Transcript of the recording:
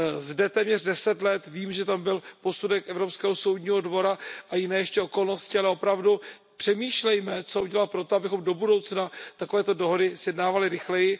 Zde téměř deset let vím, že tam byl posudek Evropského soudního dvora a jiné ještě okolnosti, ale opravdu přemýšlejme, co udělat pro to, abychom do budoucna takovéto dohody sjednávali rychleji.